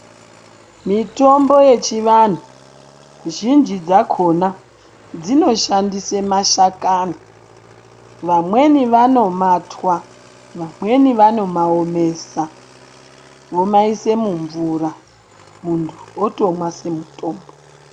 Mitombo yechivantu zhinji dzakona dzinoshandisa mashakani vamweni vano matwa vamweni vano maomesa vomaisa mumvura muntu otomwa semutombo.